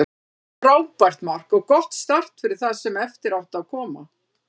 Frábært mark og gott start fyrir það sem eftir átti að koma.